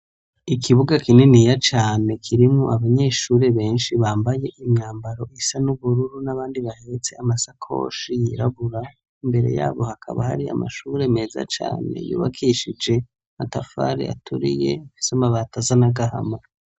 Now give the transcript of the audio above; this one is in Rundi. Ikibuga kinini ya cane kirimwo abanyeshuri benshi bambaye imyambaro isa n'ubururu n'abandi bahetse amasakoshi yirabura imbere yabo hakaba hari amashuri meza cane yubakishije matafare aturiye Ifise amabati asa n'agahama.